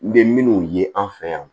N bɛ minnu ye an fɛ yan